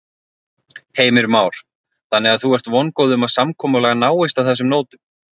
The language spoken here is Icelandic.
Heimir Már: Þannig að þú ert vongóð um að samkomulag náist á þessum nótum?